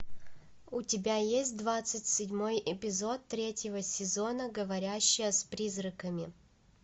у тебя есть двадцать седьмой эпизод третьего сезона говорящая с призраками